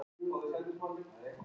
Svæli skrímslið út.